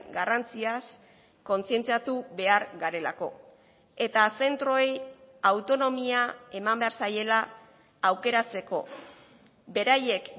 garrantziaz kontzientziatu behar garelako eta zentroei autonomia eman behar zaiela aukeratzeko beraiek